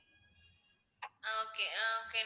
ah okay ah okay